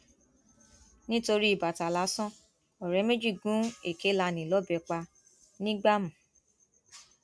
nítorí bàtà lásán ọrẹ méjì gún èkélànè lọbẹ pa nìgbàmù